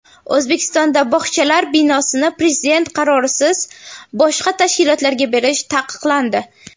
O‘zbekistonda bog‘chalar binosini prezident qarorisiz boshqa tashkilotlarga berish taqiqlandi.